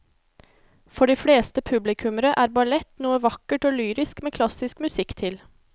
For de fleste publikummere er ballett noe vakkert og lyrisk med klassisk musikk til.